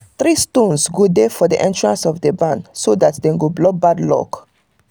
three stones go dey for the entrance of the barn so that dem go block bad luck